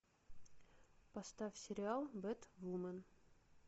поставь сериал бэтвумен